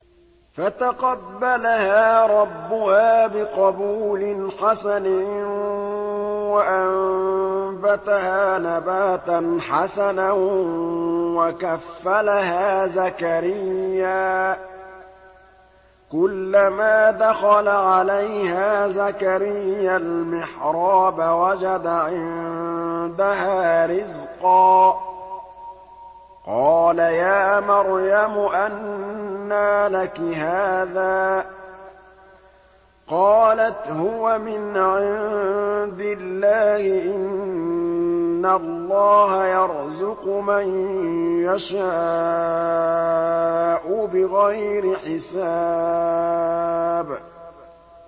فَتَقَبَّلَهَا رَبُّهَا بِقَبُولٍ حَسَنٍ وَأَنبَتَهَا نَبَاتًا حَسَنًا وَكَفَّلَهَا زَكَرِيَّا ۖ كُلَّمَا دَخَلَ عَلَيْهَا زَكَرِيَّا الْمِحْرَابَ وَجَدَ عِندَهَا رِزْقًا ۖ قَالَ يَا مَرْيَمُ أَنَّىٰ لَكِ هَٰذَا ۖ قَالَتْ هُوَ مِنْ عِندِ اللَّهِ ۖ إِنَّ اللَّهَ يَرْزُقُ مَن يَشَاءُ بِغَيْرِ حِسَابٍ